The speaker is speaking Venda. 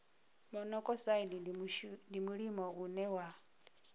monokosaidi ndi mulimo une wa